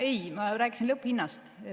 Ei, ma rääkisin lõpphinnast.